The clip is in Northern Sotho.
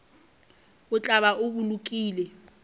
o tla ba o bolokile